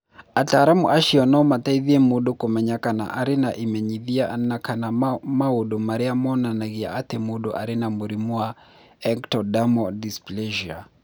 Ataramu acio no mateithie mũndũ kũmenya kana nĩ arĩ na imenyithia na kana maũndũ marĩa monanagia atĩ mũndũ arĩ na mũrimũ wa ectodermal dysplasia.